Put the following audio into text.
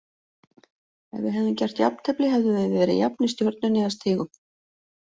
Ef við hefðum gert jafntefli hefðum við verið jafnir Stjörnunni að stigum.